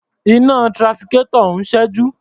Iná trafficator ń ṣẹ́jú.